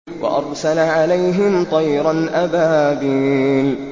وَأَرْسَلَ عَلَيْهِمْ طَيْرًا أَبَابِيلَ